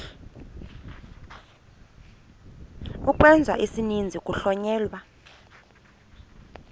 ukwenza isininzi kuhlonyelwa